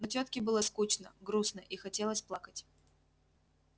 но тётке было скучно грустно и хотелось плакать